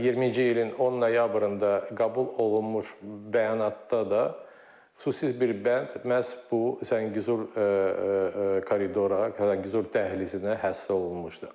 20-ci ilin 10 noyabrında qəbul olunmuş bəyanatda da xüsusi bir bənd məhz bu Zəngəzur koridora, Zəngəzur dəhlizinə həsr olunmuşdu.